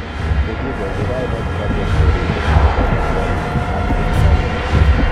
Kogigachi kainet katerterindet nebo Nobel ab Hesabuk